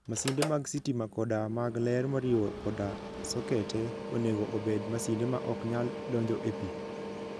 Masinde mag sitima koda mag ler moriwo koda sokete, onego obed masinde ma ok nyal donjo e pi.